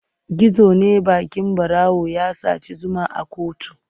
Gizo ne baƙin ɓarawo ya saci zuma a kuttu.